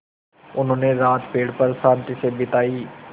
उन्होंने रात पेड़ पर शान्ति से बिताई